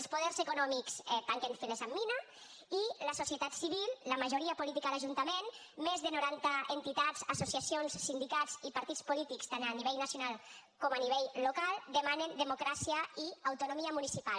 els poders econòmics tanquen files amb mina i la societat civil la majoria política de l’ajuntament més de noranta entitats associacions sindicats i partits polítics tant a nivell nacional com a nivell local demanen democràcia i autonomia municipal